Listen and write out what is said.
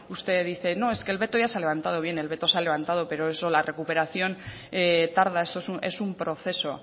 usted dice no es que el veto ya se ha levantado bien el veto se ha levantado pero la recuperación tarda es un proceso